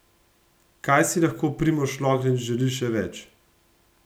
Kaj si lahko Primož Roglič želi še več?